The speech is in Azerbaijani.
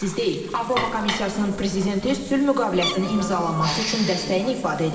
Avropa Komissiyasının prezidenti sülh müqaviləsinin imzalanması üçün dəstəyini ifadə edib.